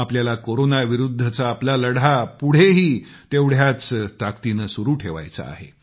आपल्याला कोरोनाविरुद्धचा आपला लढा पुढेही तेवढ्याच ताकदीनं सुरु ठेवायचा आहे